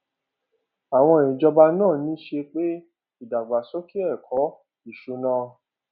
àwọn ìjọba náà ń ní ṣe pé ìdàgbàsókè ẹkọ ètò ìsúná